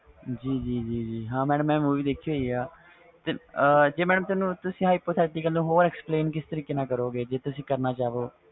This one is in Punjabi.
ਜੀ ਜੀ ਜੀ ਹਾਂ madam movie ਦੇਖੀ ਹੋਈ ਵ ਜੇ madam ਤੁਸੀ hypothetical ਨੂੰ example ਕਿਸ ਤਰਾਂ ਕਰੋ ਗਏ ਜੇ ਤੁਸੀ ਕਰਨਾ ਚਾਹੋ